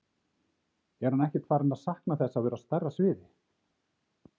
Er hann ekkert farinn að sakna þess að vera á stærra sviði?